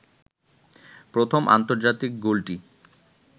প্রথম আন্তর্জাতিক গোলটি